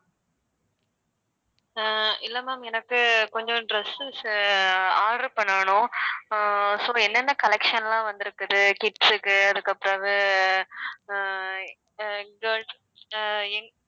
ஆஹ் இல்லை ma'am எனக்கு கொஞ்சம் dresses order பண்ணணும் ஆஹ் so என்னென்ன collection லாம் வந்து இருக்குது kids க்கு அதுக்கு பிறவு ஆஹ் girls ஆஹ்